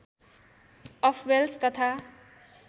of Wales तथा